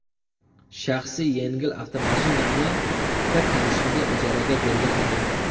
Shaxsiy yengil avtomashinamni bir tanishimga ijaraga bergan edim.